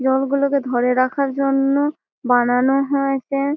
জল গুলোকে ধরে রাখার জন্য বানানো হয়েছে।